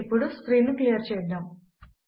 ఇప్పుడు స్క్రీన్ ను క్లియర్ చేద్దాము